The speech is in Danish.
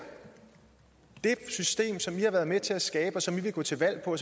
det system som i har været med til at skabe som i vil gå til valg på